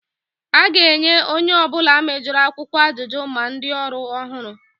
A ga-enye onye ọ bụla mejoro akwụkwọ ajụjụ, ma ndị ọrụ ọhụrụ